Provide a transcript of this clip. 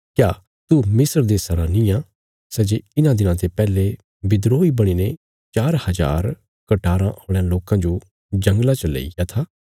क्या तू मिस्र देशा रा निआं सै जे इन्हां दिनां ते पैहले विद्रोही बणीने चार हजार कटाराँ औल़यां लोकां जो जंगला च लईग्या था